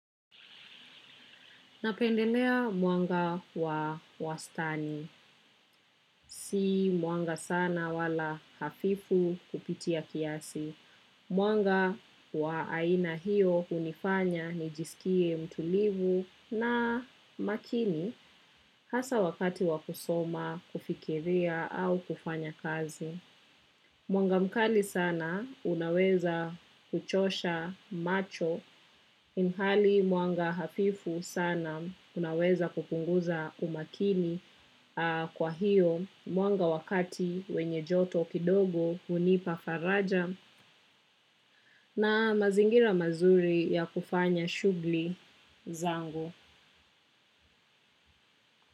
Napendelea mwanga wa wastani. Si mwanga sana wala hafifu kupitia kiasi. Mwanga wa aina hiyo hunifanya ni jisikie mtulivu na makini hasa wakati wa kusoma, kufikiria au kufanya kazi. Mwanga mkali sana unaweza kuchosha macho ilhali mwanga hafifu sana unaweza kupunguza umakini, kwa hiyo mwanga wakati wenye joto kidogo hunipa faraja na mazingira mazuri ya kufanya shughuli zangu.